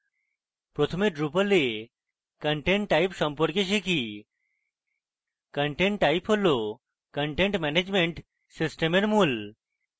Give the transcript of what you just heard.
প্রথমে drupal এ content type সম্পর্কে শিখি content type হল content ম্যানেজমেন্ট সিস্টেমের মূল